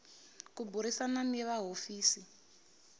ku burisana ni va hofisi